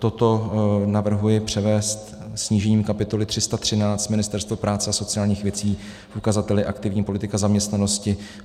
Toto navrhuji převést snížením kapitoly 313 Ministerstvo práce a sociálních věcí v ukazateli aktivní politika zaměstnanosti.